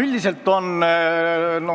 Üldiselt on